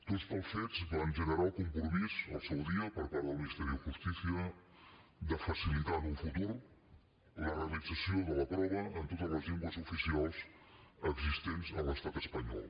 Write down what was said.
doncs tals fets van generar el compromís al seu dia per part del ministerio de justicia de facilitar en un futur la realització de la prova en totes les llengües oficials existents en l’estat espanyol